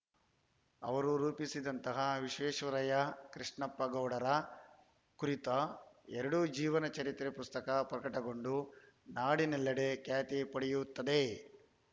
ಅವರು ರೂಪಿಸಿದಂತಹ ವಿಶ್ವೇಶ್ವರಯ್ಯ ಕೃಷ್ಣಪ್ಪಗೌಡರ ಕುರಿತ ಎರಡು ಜೀವನ ಚರಿತ್ರೆ ಪುಸ್ತಕ ಪ್ರಕಟಗೊಂಡು ನಾಡಿನೆಲ್ಲೆಡೆ ಖ್ಯಾತಿ ಪಡೆಯುತ್ತದೆ